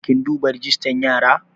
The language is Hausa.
Kin duba rajistan yara?